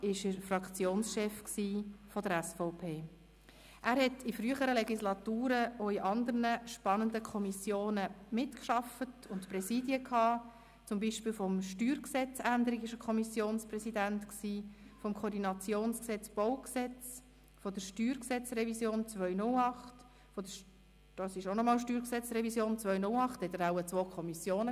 Ich danke Patrick Trees, dem Generalsekretär des Grossen Rats, sowie den Mitarbeitenden der Parlamentsdienste und der Staatskanzlei, die heute als Gäste auf der Tribüne sitzen, herzlich für die Beantwortung von unzähligen Fragen und Anliegen und noch mehr Fragen, aber auch für die Traktandenlisten und die Protokolle, die sie für uns erstellen.